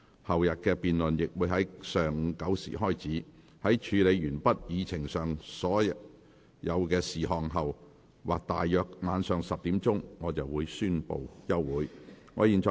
後天的辯論亦會在上午9時開始，在處理完畢議程上所有事項後或大約晚上10時，我便會宣布休會。